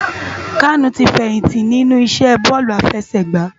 Kanu ti fèyinti lènú isè bòlú àfèsègbá